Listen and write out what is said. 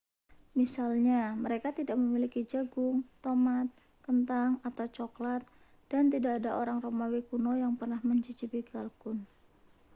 misalnya mereka tidak memiliki jagung tomat kentang atau cokelat dan tidak ada orang romawi kuno yang pernah mencicipi kalkun